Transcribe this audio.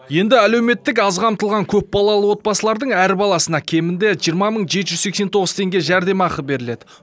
енді әлеуметтік аз қамтылған көпбалалы отбасылардың әр баласына кемінде жиырма мың жеті жүз сексен тоғыз теңге жәрдемақы беріледі